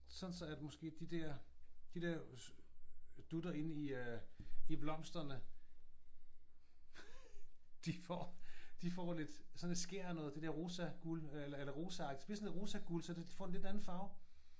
Sådan så at måske de der de der dutter inde i øh i blomsterne de får de får lidt sådan et skær af noget det der rosaguld øh eller rosaagtigt det bliver sådan lidt rosaguld så de får lidt en anden farve